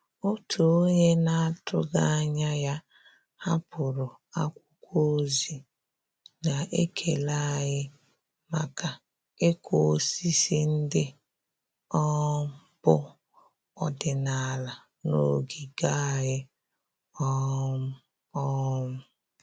Òtù ónyé nà-àtụ́ghị́ ányà yá hàpụ́rụ̀ ákwụ́kwọ́ ózì nà-ékélé ànyị́ màkà ị́kụ́ ósísí ndị́ um bù ọ́dị́nàlà nà ògígè ànyị́. um um